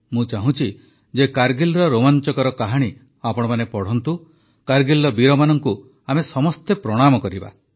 ମୁଁ ଚାହୁଁଛି ଯେ କାରଗିଲ ରୋମାଞ୍ଚକର କାହାଣୀ ଆପଣମାନେ ପଢ଼ନ୍ତୁ କାରଗିଲ ବୀରମାନଙ୍କୁ ଆମେ ସମସ୍ତେ ପ୍ରଣାମ କରିବା